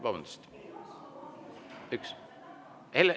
Vabandust!